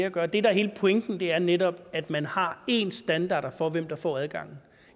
at gøre det der er hele pointen er netop at man har ens standarder for hvem der får adgang